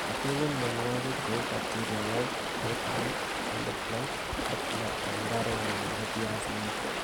Kicheng'e mionwokik cheu bacteria wilt, late bright, early blight ak black en mbarengung nebo biaisinik.